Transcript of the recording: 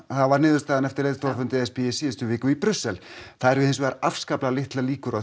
var niðurstaðan eftir leiðtogafund e s b í síðustu viku það eru hins vegar afskaplega litlar líkur á